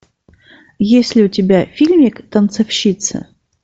есть ли у тебя фильмик танцовщица